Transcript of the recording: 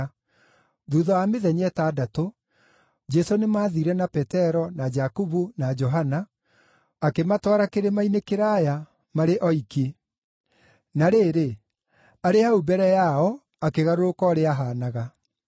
Thuutha wa mĩthenya ĩtandatũ, Jesũ nĩmathiire na Petero na Jakubu na Johana, akĩmatwara kĩrĩma-inĩ kĩraaya, marĩ oiki. Na rĩrĩ, arĩ hau mbere yao akĩgarũrũka ũrĩa aahaanaga.